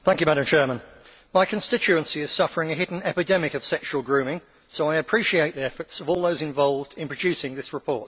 Madam President, my constituency is suffering a hidden epidemic of sexual grooming so I appreciate the efforts of all those involved in producing this report.